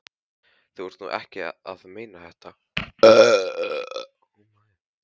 Þú ert nú ekki að meina þetta!